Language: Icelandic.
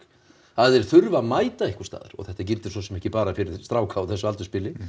að þeir þurfi að mæta einhvers staðar og þetta gildir svo sem ekki bara fyrir stráka á þessu aldursbili